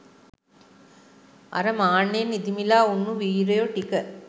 අර මාන්නයෙන් ඉදිමිලා උන්නු වීරයො ටික